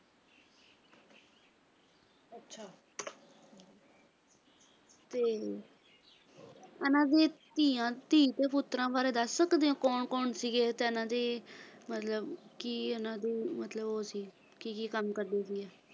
ਤੇ ਇਨ੍ਹਾਂ ਦੀ ਧੀ ਤੇ ਪੁੱਤਰਾਂ ਬਾਰੇ ਦੱਸ ਸਕਦੇ ਹੋ ਕੌਣ ਕੌਣ ਸੀਗੇ ਤੇ ਹਨ ਦੇ ਤੇ ਇਨ੍ਹਾਂ ਦੇ ਮਤਲਬ ਕੀ ਇਨ੍ਹਾਂ ਦੇ ਮਤਲਬ ਉਹ ਸੀ ਕੀ ਕੀ ਕੰਮ ਕਰਦੇ ਸੀਗੇ?